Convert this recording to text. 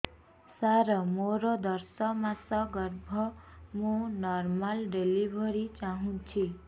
ସାର ମୋର ଦଶ ମାସ ଗର୍ଭ ମୁ ନର୍ମାଲ ଡେଲିଭରୀ ଚାହୁଁଛି